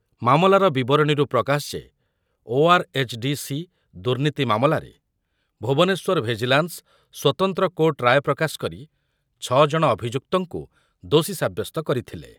ମାମଲାର ବିବରଣୀରୁ ପ୍ରକାଶ ଯେ ଓଆରଏଚଡିସି ଦୁର୍ନୀତି ମାମଲାରେ ଭୁବନେଶ୍ୱର ଭିଜିଲାନ୍ସ ସ୍ୱତନ୍ତ୍ର କୋର୍ଟ ରାୟ ପ୍ରକାଶ କରି ଛ ଜଣ ଅଭିଯୁକ୍ତଙ୍କୁ ଦୋଷୀ ସାବ୍ୟସ୍ତ କରିଥିଲେ।